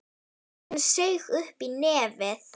Hann saug upp í nefið.